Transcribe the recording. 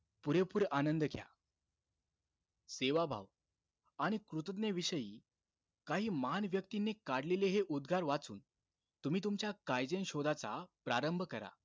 पुरेपूर आनंद घ्या. सेवाभाव आणि कृतज्ञ विषयी काही महान व्यक्तींनी काढलेले हे उद्गार वाचून, तुम्ही तुमच्या काईझेन शोधाचा प्रारंभ करा.